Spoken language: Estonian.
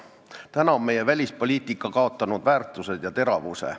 Täna on meie välispoliitika kaotanud väärtused ja teravuse.